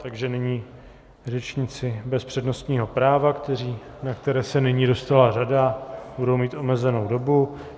Takže nyní řečníci bez přednostního práva, na které se nyní dostala řada, budou mít omezenou dobu.